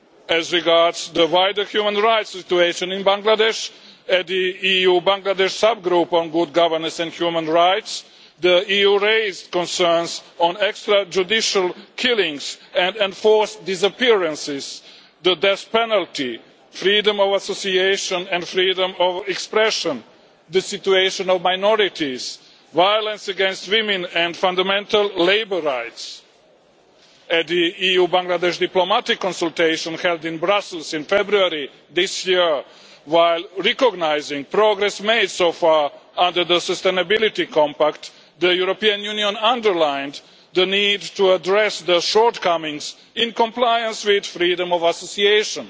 As regards the wider human rights situation in Bangladesh, at the EU Bangladesh subgroup on good governance and human rights the EU raised concerns on extra judicial killings and enforced disappearances, the death penalty, freedom of association and freedom of expression, the situation of minorities, violence against women, and fundamental labour rights. At the EU Bangladesh diplomatic consultation held in Brussels in February this year, while recognising progress made so far under the Sustainability Compact, the European Union underlined the need to address the shortcomings in compliance with freedom of association.